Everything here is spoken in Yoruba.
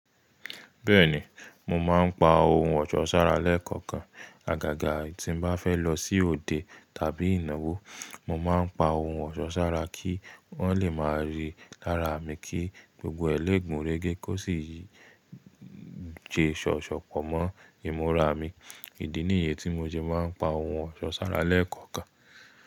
Bẹ́ẹ̀ni, mo máa ń pa ohun ọ̀ṣọ́ sára lẹ́ẹ̀kọ̀kan. Àgàgà tí mo bá fẹ́ lọ sí òde tàbí ìnáwó, mo máa ń pa ohun ọ̀ṣọ́ sára kí wọ́n le máa rí lára mi kí gbogbo ẹ lè gùn rẹ́gẹ́ kó sì jẹ ṣọ̀ṣọ̀ pọ̀ mọ́ ìmúra mi. Ìdí nìyí tí mo ṣe ma ń.